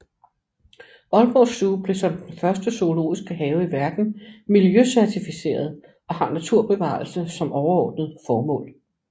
Aalborg Zoo blev som den første zoologiske have i verden miljøcertificeret og har naturbevarelse som overordnet formål